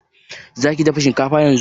Za ki dafa shinkafa yanzu?